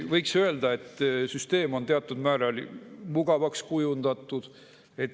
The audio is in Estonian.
Võiks öelda, et süsteem on teatud määral mugavaks kujundatud.